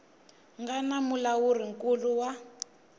nga na mulawuri nkulu wa